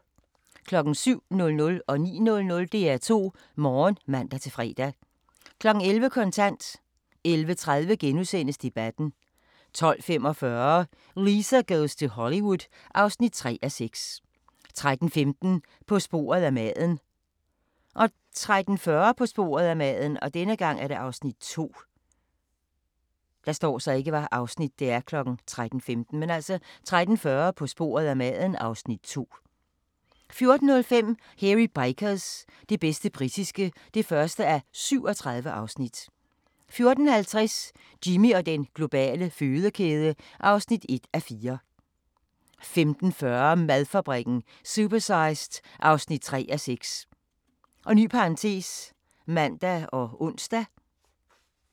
07:00: DR2 Morgen (man-fre) 09:00: DR2 Morgen (man-fre) 11:00: Kontant 11:30: Debatten * 12:45: Lisa goes to Hollywood (3:6) 13:15: På sporet af maden 13:40: På sporet af maden (Afs. 2) 14:05: Hairy Bikers – det bedste britiske (1:37) 14:50: Jimmy og den globale fødekæde (1:4) 15:40: Madfabrikken – Supersized (3:6)(man og ons)